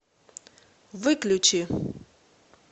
выключи